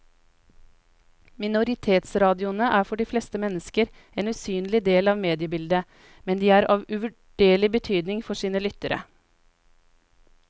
Minoritetsradioene er for de fleste mennesker en usynlig del av mediebildet, men de er av uvurderlig betydning for sine lyttere.